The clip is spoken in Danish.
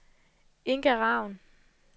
Inga Ravn